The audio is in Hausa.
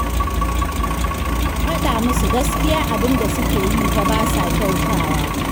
A faɗa musu gaskiya abin da suke yi fa ba sa kyautawa